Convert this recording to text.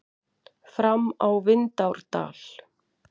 Fram á Vindárdal.